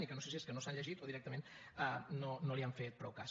i que no sé si és que no se l’han llegit o directament no li han fet prou cas